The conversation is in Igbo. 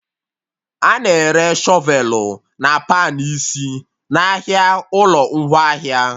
A na-ere Shọvelụ na pan isi n'ahịa ụlọ ngwaahịa